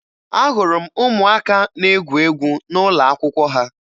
Ahụrụ m ụmụaka na-egwu egwu n'ụlọakwụkwọ ha